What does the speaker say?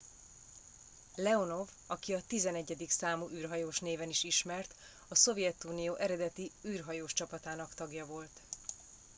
"leonov aki a "11. számú űrhajós" néven is ismert a szovjetunió eredeti űrhajós csapatának tagja volt.